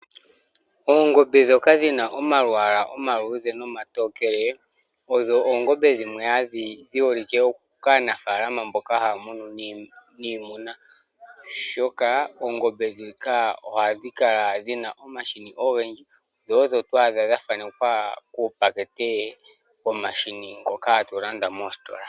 Oongombe dhoka dhina omalwala omatokele noomaludhe , Odho oongombe dhimwe dhi holike kaanafalama mboka ha munu niimuna oshoka oongombe dhika ohadhi kala dhina omahini ogendji dho odho to adh dha thanekwa kupakete mbo hatu landa mositola.